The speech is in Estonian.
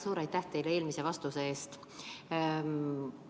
Suur aitäh teile eelmise vastuse eest!